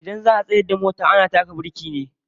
Idan za'a tsayar da mota ana taka biriki ne.